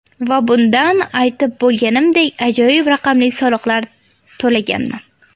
Va bundan, aytib bo‘lganimdek, ajoyib raqamli soliqlar to‘laganman.